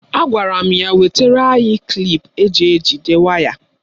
Agwara m ya wetara anyị klip eji ejide waya.